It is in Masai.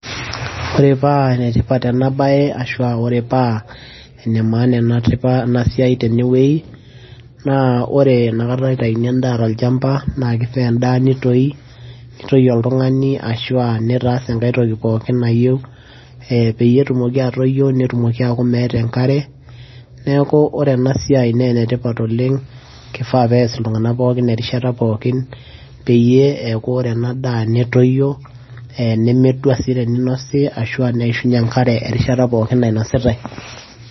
ore paa enetipat ena baye ashua ore paa ene maana ena siai tenewueji naa ore enakata itaini endaa tolchamba naa kifaa endaa nitoi nitoii oltung'ani ashua nitaas enkae toki pookin nayieu eh, peyie etumoki atoyio netumoki aaku meeta enkare, neaku ore ena siai naa ene tipat oleng kifaa peas iltunganak pooki erishata pookin peyie eaku ore ena daa netoyio, nemedua sii teninosi ashua neishunye enkare erishata pookin nainositae.